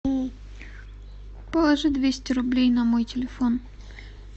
положи двести рублей на мой телефон